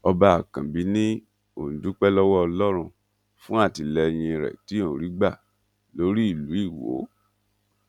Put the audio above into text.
ọba àkànbí ni òun dúpẹ lọwọ ọlọrun fún àtìlẹyìn rẹ tí òun rí gbà lórí ìlú iwọ